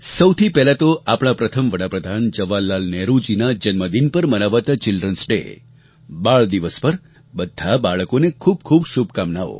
સૌથી પહેલાં તો આપણા પ્રથમ વડા પ્રધાન જવાહરલાલ નહેરૂજીના જન્મદિન પર મનાવાતા ચિલ્ડ્રન્સ ડે બાળ દિવસ પર બધાં બાળકોને ખૂબ ખૂબ શુભકામનાઓ